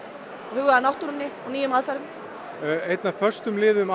huga að náttúrunni og nýjum aðferðum einn af föstum liðum